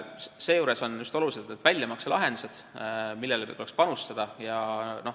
Seejuures on olulised just väljamakselahendused, nendele tuleks ka panustada.